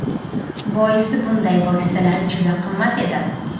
Boisi bunday vositalar juda qimmat edi.